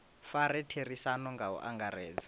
fare therisano nga u angaredza